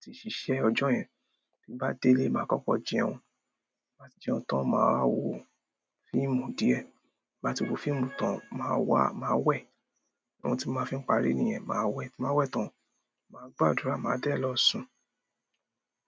ti sisẹ ọjọ́ yen. Ti n ba délé, maa kọ́kọ́ jẹun. Ti n ba ti jẹun tán, màá wo fíìmù díẹ̀. Ti n ba ti wo fíìmù tán, màá wá, màá wẹ̀. Ohun ti n màá fi ń parí nìyẹn. Màá wẹ̀, tí n bá wẹ̀ tán, màá gbàdúrà, màá dé lọ sùn.